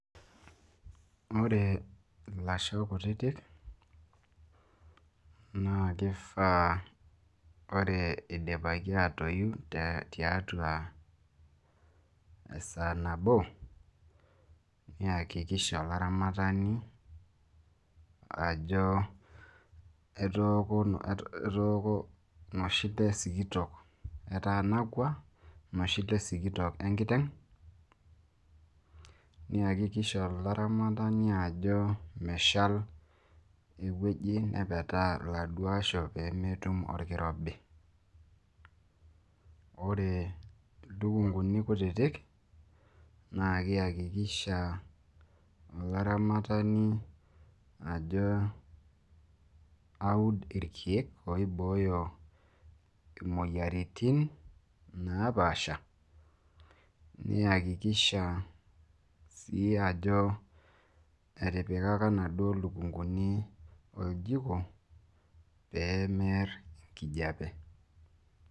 ore ilasho kutitik naa kifaa idipaki aatoiu tiatua esaa nabo niakikisha olaramatani, ajo etooko etanakua inoshi le sikitok enkiteng, niakikisha olaramatani, ajo mesal enaduoo wueji nepetaa lasho pee metum olkirobi, ore ilukunkuni kutitik, naa niakikisha olaramatani, ajo aud irkeek oibooyo imoyiaritin napaasha. niakikisha olaramatani, ajo etipkaka inaduoo lukunkuni oljiko pee miar enkijiape.